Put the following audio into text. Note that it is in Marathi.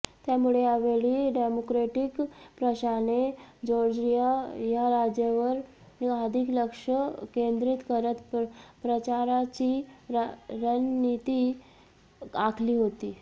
त्यामुळे यावेळी डेमोक्रॅटीक पक्षाने जॉर्जिया या राज्यावर अधिक लक्ष केंद्रीत करत प्रचाराची रणनिती आखली होती